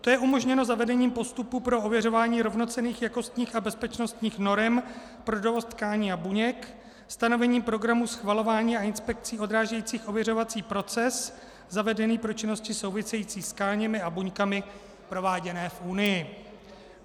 To je umožněno zavedením postupu pro ověřování rovnocenných jakostních a bezpečnostních norem pro dovoz tkání a buněk, stanovení programu schvalování a inspekcí odrážejících ověřovací proces zavedený pro činnosti související s tkáněmi a buňkami prováděné v Unii.